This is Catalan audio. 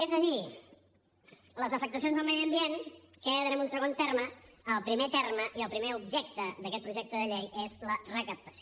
és a dir les afectacions al medi ambient queden en un segon terme el primer terme i el primer objecte d’aquest projecte de llei és la recaptació